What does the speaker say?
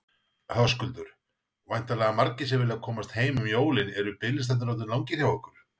Höskuldur: Væntanlega margir sem vilja komast heim um jólin, eru biðlistarnir orðnir langir hjá ykkur?